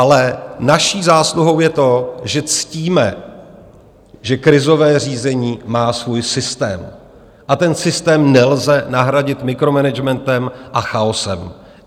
Ale naší zásluhou je to, že ctíme, že krizové řízení má svůj systém a ten systém nelze nahradit mikromanagementem a chaosem.